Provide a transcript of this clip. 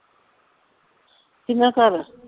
ਕਿੰਨਾ ਘਰ